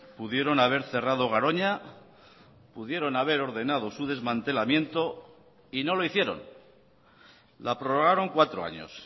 pudieron haber cerrado garoña pudieron haber ordenado su desmantelamiento y no lo hicieron la prorrogaron cuatro años